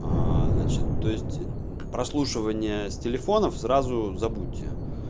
аа значит то есть прослушивание с телефонов сразу забудьте